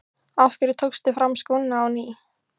Af hverju tókstu fram skóna á ný?